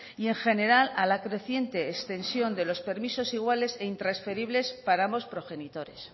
y en general a la creciente extensión de los permisos igualdad e intransferibles para ambos progenitores